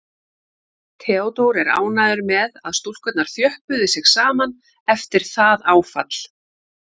Theodór er ánægður með að stúlkurnar þjöppuðu sig saman eftir það áfall.